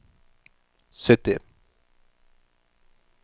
sytti